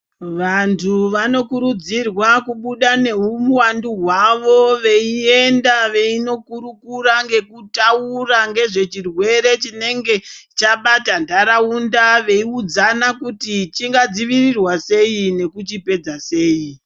Vantu vanokurudzirwa kubuda neuwandu hwawo veienda veindokurukura ngekutaura ngezvechirwere chinenga chabata ntaraunda veiudzana kuti chingadzivirirwa sei nekuchipedza sei.